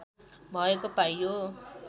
भएको पाइयो